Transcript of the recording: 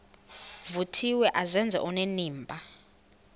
vuthiwe azenze onenimba